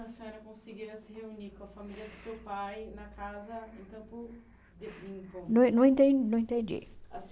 A senhora conseguia se reunir com a família do seu pai na casa em Campo Limpo. Não não enten não entendi. A